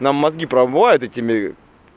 нам мозги промывают этими